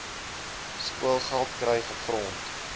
skoolgeld kry gegrond